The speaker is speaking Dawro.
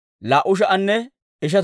Beeteleeme Asay 123.